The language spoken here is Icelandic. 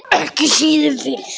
Ekki síður fyrir